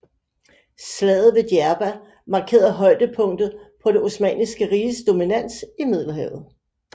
Slaget ved Djerba markerede højdepunktet på det Osmanniske Riges dominans i Middelhavet